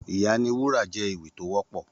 Ìyá ni wúrà jè éwì tó wòpò